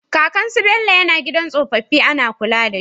Kakan su Bello yAna gidan tsofafin Ana kula dashi